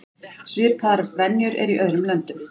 Svipaðar venjur eru í öðrum löndum.